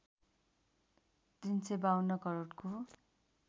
३५२ करोडको